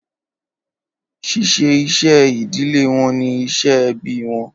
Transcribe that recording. Ṣíṣe iṣẹ́ ìdílé wọn ni iṣẹ́ ẹbí wọn.